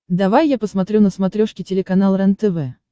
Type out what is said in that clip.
давай я посмотрю на смотрешке телеканал рентв